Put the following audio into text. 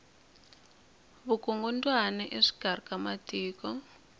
vukungumbyana exikari ka matiko